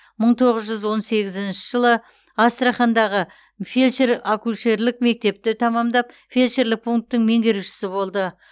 мың тоғыз жүз он сегізінші жылы астрахандағы фельдшер акушерлік мектепті тәмамдап фельдшерлік пунктің меңгерушісі болды